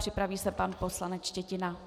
Připraví se pan poslanec Štětina.